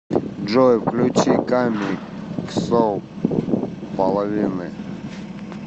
джой включи ками ксо половины